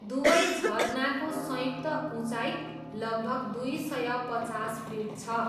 दुवै झरनाको संयुक्त उचाइ लगभग दुई सय पचास फिट छ।